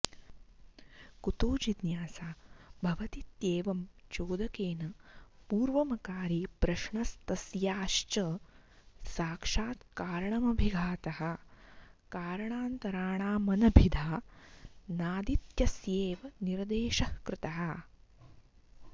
कुतो जिज्ञासा भवतीत्येवं चोदकेन पूर्वमकारि प्रश्नस्तस्याश्च साक्षात् कारणमभिघातः कारणान्तराणामनभिधानादित्यस्यैव निर्देशः कृतः